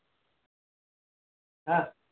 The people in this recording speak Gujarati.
હા